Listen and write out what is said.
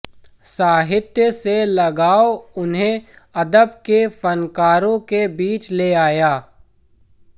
साहित्य से लगाव उन्हें अदब के फनकारों के बीच ले आया